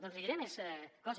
doncs li diré més coses